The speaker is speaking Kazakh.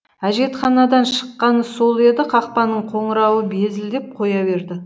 әжетханадан шыққаны сол еді қақпаның қоңырауы безілдеп қоя берді